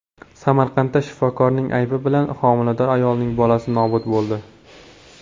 Samarqandda shifokorning aybi bilan homilador ayolning bolasi nobud bo‘ldi.